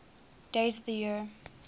days of the year